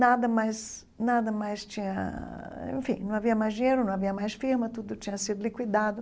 Nada mais nada mais tinha... Enfim, não havia mais dinheiro, não havia mais firma, tudo tinha sido liquidado.